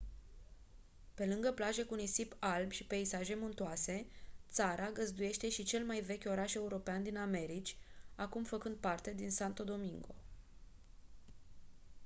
pe lângă plaje cu nisip alb și peisaje muntoase țara găzduiește și cel mai vechi oraș european din americi acum făcând parte din santo domingo